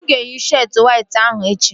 Mụ ga-eyi sheetị wayt ahụ echi